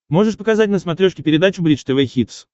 можешь показать на смотрешке передачу бридж тв хитс